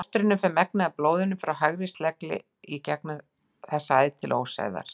Í fóstrinu fer megnið af blóðinu frá hægri slegli gegnum þessa æð til ósæðar.